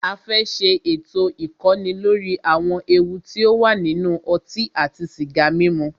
A fẹ́ ṣé ètò ìkọ́ni lóri àwọn ewu ti o wà nínú ọtí àti sìgá mímu.